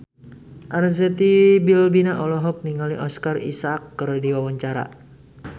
Arzetti Bilbina olohok ningali Oscar Isaac keur diwawancara